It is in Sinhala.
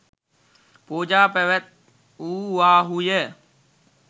පූජා පැවැත්වූවාහු ය